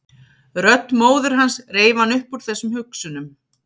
Rödd móður hans reif hann upp úr þessum hugsunum.